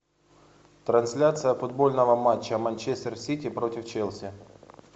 трансляция футбольного матча манчестер сити против челси